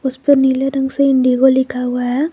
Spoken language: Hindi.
उसपे नीले रंग से इंडिगो लिखा हुआ है।